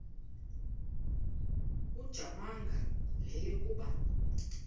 ujamangi le yakoba